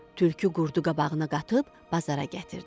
Tülkü qurdu qabağına qatıb bazara gətirdi.